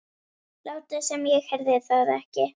Láta sem ég heyrði það ekki.